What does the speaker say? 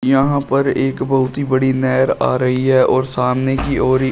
यहां पर एक बहुत ही बड़ी नहर आ रही है और सामने की ओर ही --